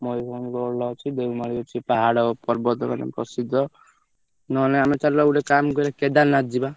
ମୟୂରଭଞ୍ଜ ଭଲ ଅଛି ଦେଓମାଳି ଅଛି ପାହାଡ ପର୍ବତ ମାନେ ପ୍ରସିଦ୍ଧ ନହେଲେ ଆମେ ଚାଲୁନା ଗୋଟେ ଚାଲ କରିବା କେଦାରନାଥ ଯିବା।